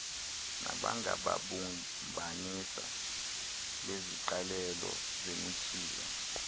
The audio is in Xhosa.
nabangababumbanisi beziqalelo zemichiza